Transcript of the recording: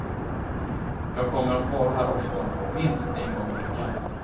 Jag kommer att vara här ofta, minst en gång i veckan.